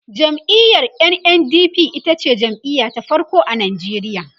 jam'iyar NNDP itace jam'iya ta farko a Nigeria